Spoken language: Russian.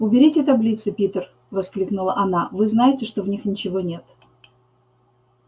уберите таблицы питер воскликнула она вы знаете что в них ничего нет